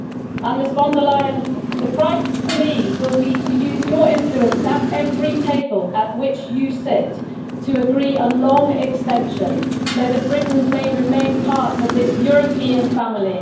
And Ms von der Leyen, the price for me will be to use your influence at every table at which you sit to agree a long extension, so that Britain may remain part of this European family.